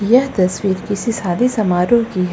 यह तस्वीर किसी शादी समारोह की है।